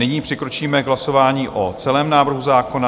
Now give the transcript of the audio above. Nyní přikročíme k hlasování o celém návrhu zákona.